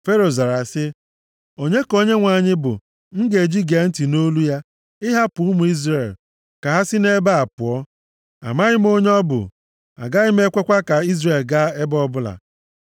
Fero zara sị, “Onye ka Onyenwe anyị bụ m ga-eji gee ntị nʼolu ya ịhapụ ụmụ Izrel ka ha si nʼebe a pụọ? Amaghị m onye ọ bụ, agaghị m ekwekwa ka Izrel gaa ebe ọbụla.”